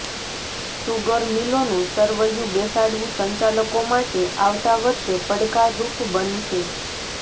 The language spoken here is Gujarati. સુગર મિલોનું સરવૈયું બેસાડવું સંચાલકો માટે આવતા વર્ષે પડકાર રૂપ બનશે